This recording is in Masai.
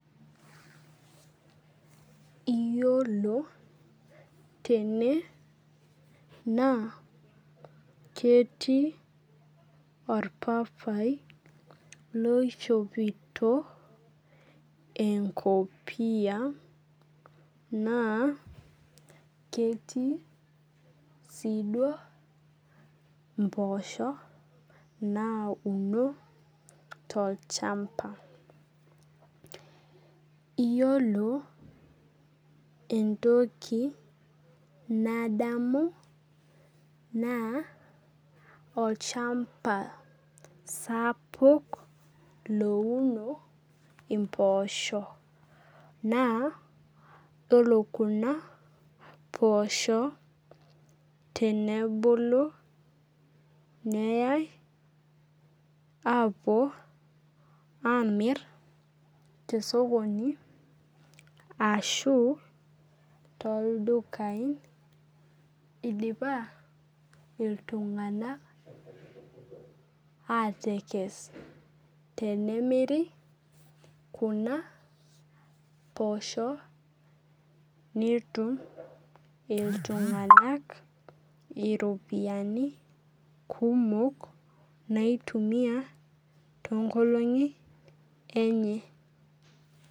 Iyolo tene na ketii orpapai loishopito enkopiya na ketii siduo mpoosho nauno tolchamba iyiolo entoki nadamu na olchamba sapuk louno mpoosho na iyolo kuna poosho tenebulu neyai apuo amir tosokoni ashu toldukai idipa iltunganak atekes tenwmiri kuna poosho netum ltunganak ropiyani kumok naitumia tonkolongi enye.